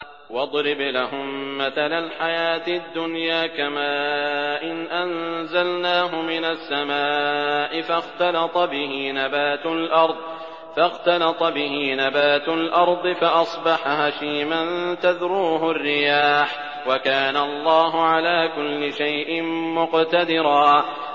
وَاضْرِبْ لَهُم مَّثَلَ الْحَيَاةِ الدُّنْيَا كَمَاءٍ أَنزَلْنَاهُ مِنَ السَّمَاءِ فَاخْتَلَطَ بِهِ نَبَاتُ الْأَرْضِ فَأَصْبَحَ هَشِيمًا تَذْرُوهُ الرِّيَاحُ ۗ وَكَانَ اللَّهُ عَلَىٰ كُلِّ شَيْءٍ مُّقْتَدِرًا